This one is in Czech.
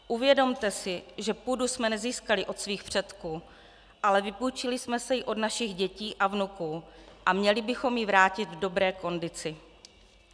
Uvědomte si, že půdu jsme nezískali od svých předků, ale vypůjčili jsme si ji od našich dětí a vnuků a měli bychom ji vrátit v dobré kondici.